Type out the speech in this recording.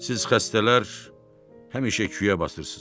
Siz xəstələr həmişə küyə basırsınız.